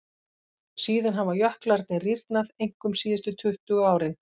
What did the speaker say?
Síðan hafa jöklarnir rýrnað, einkum síðustu tuttugu ár.